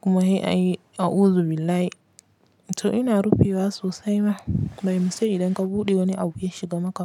kuma he a yi a uzu billahi. To ina rufe wa sosai ma, by mistake idan ka buɗe wani abu ya shiga maka.